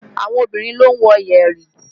Àwọn obìnrin ló ń wọ yẹ̀rì